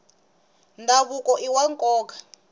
ndhavuko iwa nkoka